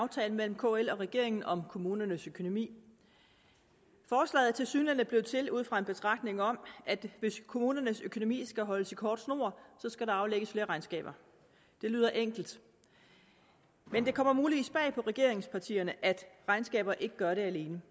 aftalen mellem kl og regeringen om kommunernes økonomi forslaget er tilsyneladende blevet til ud fra en betragtning om at hvis kommunernes økonomi skal holdes i kort snor skal der aflægges flere regnskaber det lyder enkelt men det kommer muligvis bag på regeringspartierne at regnskaber ikke gør det alene